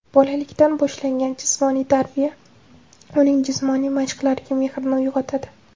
Bolalikdan boshlangan jismoniy tarbiya uning jismoniy mashqlarga mehrini uyg‘otadi.